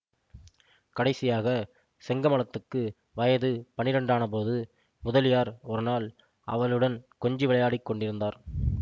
கடைசியாக செங்கமலத்துக்கு வயது பன்னிரண்டானபோது முதலியார் ஒருநாள் அவளுடன் கொஞ்சி விளையாடிக் கொண்டிருந்தார்